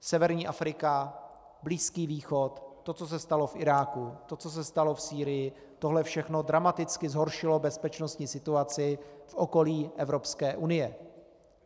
Severní Afrika, Blízký východ, to, co se stalo v Iráku, to, co se stalo v Sýrii, tohle všechno dramaticky zhoršilo bezpečností situaci v okolí Evropské unie.